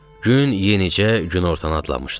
Gün yenicə günortanı adlamışdı.